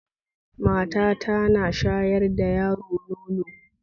Mata ta ta na sharya da yaro nono